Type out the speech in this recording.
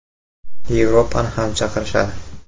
Yevropani ham chaqirishadi.